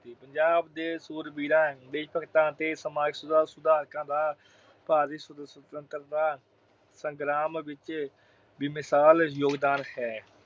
ਪੰਜਾਬ ਦੇ ਸੂਰਬੀਰਾਂ ਲਈ ਭਗਤਾਂ ਅਤੇ ਸਮਾਜ ਸੁਧਾਰਕਾਂ ਦਾ ਭਾਰਤੀ ਸੁਤੰਤਰਤਾ ਅਹ ਸੰਗਰਾਮ ਵਿੱਚ ਬੇਮਿਸਾਲ ਯੋਗਦਾਨ ਹੈ।